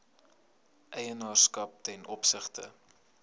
eienaarskap ten opsigte